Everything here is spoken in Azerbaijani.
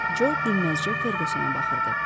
Co dinməzcə Ferqqusona baxırdı.